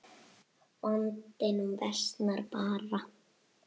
Vandinn versnar bara.